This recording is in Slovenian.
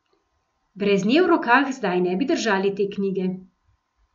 Brez nje v rokah zdaj ne bi držali te knjige.